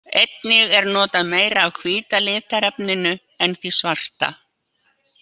Einnig er notað meira af hvíta litarefninu en því svarta.